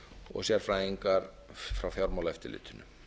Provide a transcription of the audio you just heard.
og sérfræðinga frá fjármálaeftirlitinu